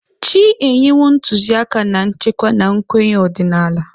Chị́ enyewo ntụzịaka na nchekwa na nkwenye ọdịnala.